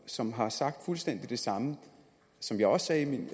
som har sagt fuldstændig det samme som jeg sagde i min